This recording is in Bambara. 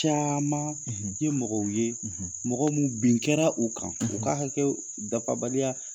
Caman tɛ mɔgɔ ye, mɔgɔ min bin kɛra u kan, u ka hakɛ dafabaliya,